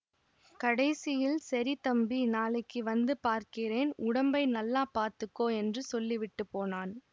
கடைசியில் சரி தம்பி நாளைக்கு வந்து பார்க்கிறேன் உடம்பை நல்லா பார்த்துக்கோ என்று சொல்லிவிட்டு போனான்